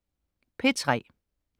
P3: